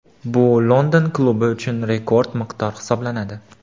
Bu London klubi uchun rekord miqdor hisoblanadi.